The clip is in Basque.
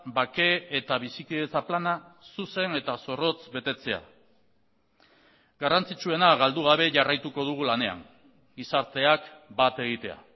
bake eta bizikidetza plana zuzen eta zorrotz betetzea garrantzitsuena galdu gabe jarraituko dugu lanean gizarteak bat egitea